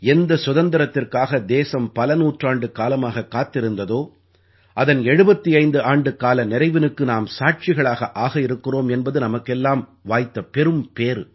எந்த சுதந்திரத்திற்காக தேசம் பல நூற்றாண்டுக்காலமாக காத்திருந்ததோ அதன் 75 ஆண்டுக்கால நிறைவினுக்கு நாம் சாட்சிகளாக ஆகவிருக்கிறோம் என்பது நமக்கெல்லாம் வாய்த்த பெரும்பேறு